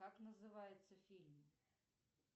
как называется фильм